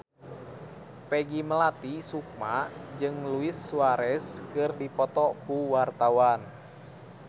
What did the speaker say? Peggy Melati Sukma jeung Luis Suarez keur dipoto ku wartawan